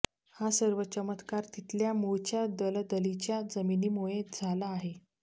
हा सर्व चमत्कार तिथल्या मूळच्या दलदलीच्या जमिनीमुळे झाला आहे